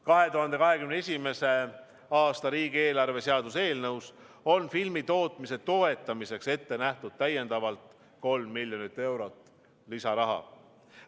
2021. aasta riigieelarve seaduse eelnõus on filmitootmise toetamiseks ette nähtud 3 miljonit eurot lisaraha.